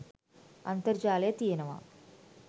අන්තර්ජාලය තියෙනවා